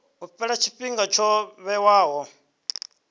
u fhela tshifhinga tsho vhewaho